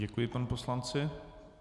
Děkuji panu poslanci.